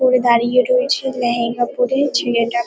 করে দাঁড়িয়ে রয়েছে লেহেঙ্গা পরে ছেলেটা।